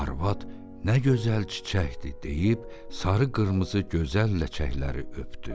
Arvad nə gözəl çiçəkdir deyib sarı-qırmızı gözəl ləkəkləri öpdü.